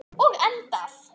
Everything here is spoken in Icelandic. Og endað.